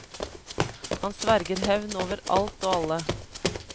Han sverger hevn over alt og alle.